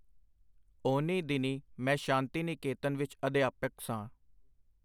ਓਹਨੀਂ ਦਿਨੀਂ ਮੈਂ ਸ਼ਾਂਤੀ ਨਿਕੇਤਨ ਵਿਚ ਅਧਿਆਪਕ ਸਾਂ.